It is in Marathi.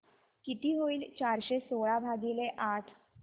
किती होईल चारशे सोळा भागीले आठ